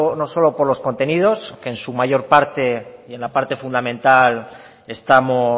no solo por los contenidos en su mayor parte en la parte fundamental estamos